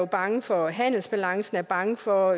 bange for handelsbalancen er bange for